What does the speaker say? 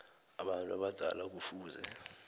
abantu abadala kufuze